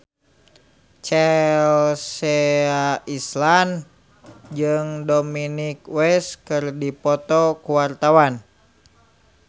Chelsea Islan jeung Dominic West keur dipoto ku wartawan